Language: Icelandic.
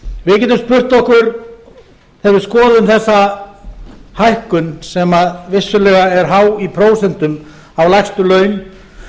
spurt okkur þegar við skoðum þessa hækkun sem vissulega er há í prósentum á lægstu laun